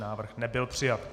Návrh nebyl přijat.